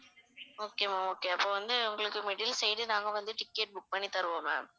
okay ma'am okay அப்ப வந்து உங்களுக்கு middle side நாங்க வந்து ticket book பண்ணி தருவோம் ma'am